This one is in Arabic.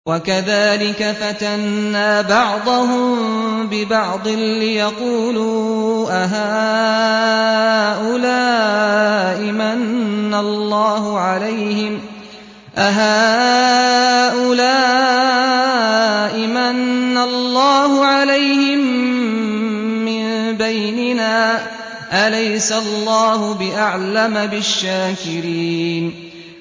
وَكَذَٰلِكَ فَتَنَّا بَعْضَهُم بِبَعْضٍ لِّيَقُولُوا أَهَٰؤُلَاءِ مَنَّ اللَّهُ عَلَيْهِم مِّن بَيْنِنَا ۗ أَلَيْسَ اللَّهُ بِأَعْلَمَ بِالشَّاكِرِينَ